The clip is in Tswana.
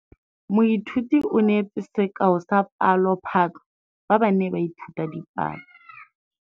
Moithuti o neetse sekaô sa palophatlo fa ba ne ba ithuta dipalo.